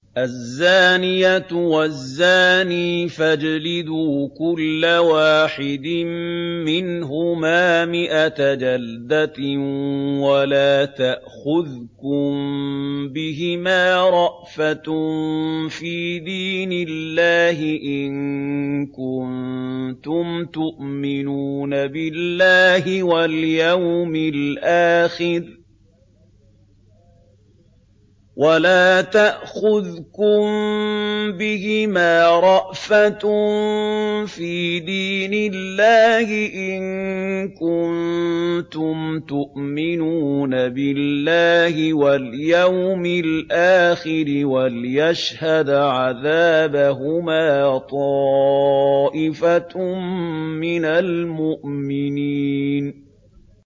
الزَّانِيَةُ وَالزَّانِي فَاجْلِدُوا كُلَّ وَاحِدٍ مِّنْهُمَا مِائَةَ جَلْدَةٍ ۖ وَلَا تَأْخُذْكُم بِهِمَا رَأْفَةٌ فِي دِينِ اللَّهِ إِن كُنتُمْ تُؤْمِنُونَ بِاللَّهِ وَالْيَوْمِ الْآخِرِ ۖ وَلْيَشْهَدْ عَذَابَهُمَا طَائِفَةٌ مِّنَ الْمُؤْمِنِينَ